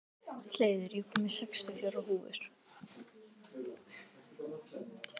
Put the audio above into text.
Hleiður, ég kom með sextíu og fjórar húfur!